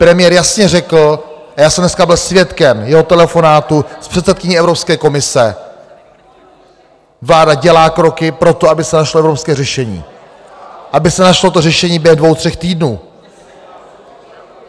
Premiér jasně řekl, a já jsem dneska byl svědkem jeho telefonátu s předsedkyní Evropské komise, vláda dělá kroky pro to, aby se našlo evropské řešení, aby se našlo to řešení během dvou tří týdnů.